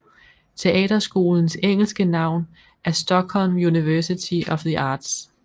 Teaterskolens engelske navn er Stockholm University of the Arts